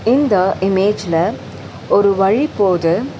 இந்த இமேஜ்ல ஒரு வழி போது.